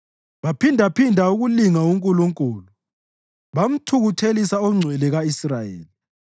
Baphindaphinda ukulinga uNkulunkulu; bamthukuthelisa oNgcwele ka-Israyeli.